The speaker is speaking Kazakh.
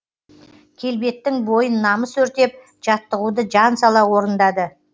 келбеттің бойын намыс өртеп жаттығуды жан сала орындады